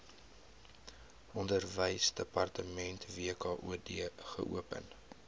onderwysdepartement wkod geopen